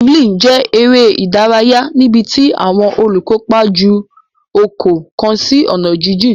Javelin jẹ eré ìdárayá níbití àwọn olukopa jù okò kán sí onà jijìn.